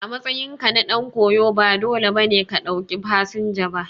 A matsayinka na dan koyo ba dole ba ne ka ɗauki fasinja ba.